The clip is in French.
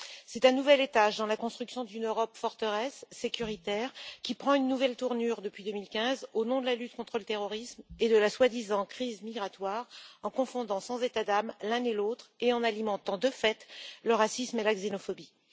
C'est un nouvel étage dans la construction d'une Europe forteresse sécuritaire, qui prend une nouvelle tournure depuis 2015 au nom de la lutte contre le terrorisme et de la soi-disant crise migratoire, en confondant sans état d'âme l'un et l'autre et en alimentant, de fait, le racisme et la xénophobie.